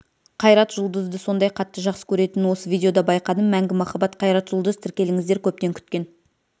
қайрат жұлдызды сондай қатты жақсы көретінін осы видеода байқадым мәңгі махаббат қайрат жұлдыз тіркеліңіздер көптен күткен